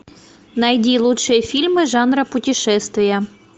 найди лучшие фильмы жанра путешествие